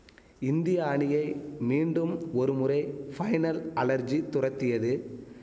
இந்திய அணியை மீண்டும் ஒரு முறை ஃபைனல் அலர்ஜி துரத்தியது